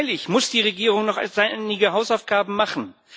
Freilich muss die Regierung noch einige Hausaufgaben machen.